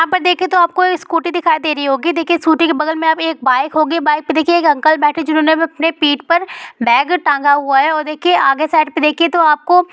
यह पर देखे तो सूक्ति दिखाई दे रही होगी देखे सूक्ति के बगल में एक बाइक होगी बाइक ऊपर एक उन्केल बैठी होगी जीनोने अपने पीठ पर बैग टेंगा हुआ हैऔर देखिए आगे साइड पे देखिए आपको--